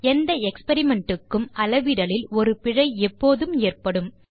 எந்த எக்ஸ்பெரிமெண்ட் க்கும் அளவிடலில் ஒரு பிழை எப்போதும் ஏற்படும்